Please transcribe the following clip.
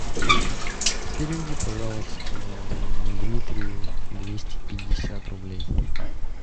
переведи пожалуйста дмитрию двести пятьдесят рублей